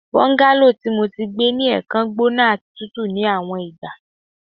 Bungalow ti Mo ti gbe ni ẹẹkan gbona ati tutu ni awọn igba